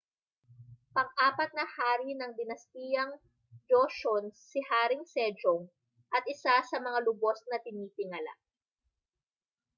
pang-apat na hari ng dinastiyang joseon si haring sejong at isa sa mga lubos na tinitingala